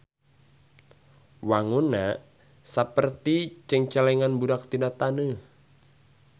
Wangunna saperti cengcelengan budak tina taneuh.